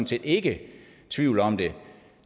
set ikke tvivl om det